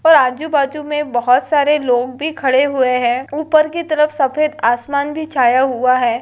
पर आजू-बाजु में बहुत सारे लोग भी खड़े हुए हैं। उपर की तरफ सफेद आसमान भी छाया हुआ है।